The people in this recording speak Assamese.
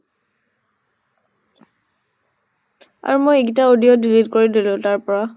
আৰু মই এইগিতা audio delete কৰি দিলো তাৰ পৰা।